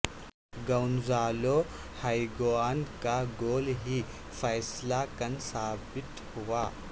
Gonzalo Higuain کا goal ہی فیصلہ کن ثابت ہوا